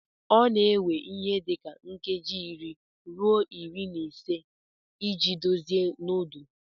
Ọ na-ewe ihe dị ka nkeji iri ruo iri na ise iji dozie nudu.